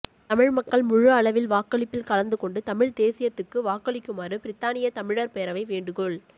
தமிழ் மக்கள் முழு அளவில் வாக்களிப்பில் கலந்து கொண்டு தமிழ் தேசியத்துக்கு வாக்களிக்குமாறு பிரித்தானிய தமிழர் பேரவை வேண்டுகோள்